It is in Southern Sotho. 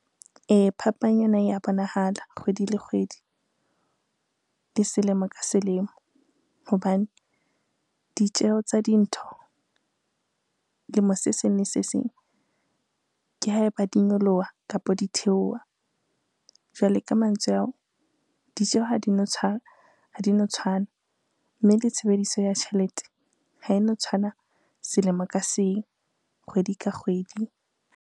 Ee, phapang yona ya bonahala kgwedi le kgwedi, le selemo ka selemo hobane ditjeho tsa dintho lemo se seng le se seng, ke ha eba di nyolowa kapo di theowa. Jwale ka mantswe ao, ha di no tshwana, ha di no tshwana, mme le tshebediso ya tjhelete ha e no tshwana selemo ka seng kgwedi ka kgwedi.